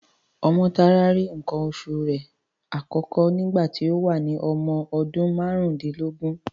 Ọmọ́tárá rí nǹkan oṣu rẹ̀ àkọ́kọ́ nígbà tí ó wà ní ọmọ ọdún márùndínlógún.